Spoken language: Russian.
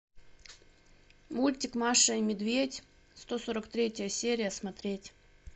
мультик маша и медведь сто сорок третья серия смотреть